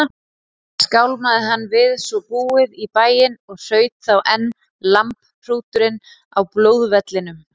Skálmaði hann við svo búið í bæinn og hraut þá enn lambhrúturinn á blóðvellinum.